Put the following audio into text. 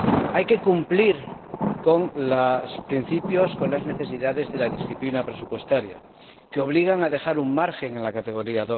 Hay que cumplir con los principios, con las necesidades de la disciplina presupuestaria, que obligan a dejar un margen en la categoría